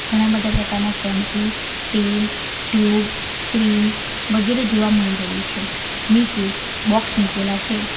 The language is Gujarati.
ઘણા બધા પ્રકારના શેમ્પૂ તેલ ટ્યુબ ક્રીમ વગેરે જોવા મળી રહ્યું છે નીચે બોક્સ મુકેલા છે.